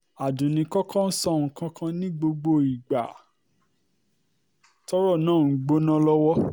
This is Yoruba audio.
um àdunni kò kò sọ nǹkan kan ní gbogbo ìgbà tọ́rọ̀ náà ń gbóná um lọ́wọ́